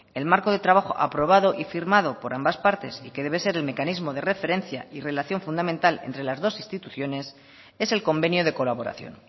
el marco de trabajo aprobado y firmado por ambas partes y que debe ser el mecanismo de referencia y relación fundamental entre las dos instituciones es el convenio de colaboración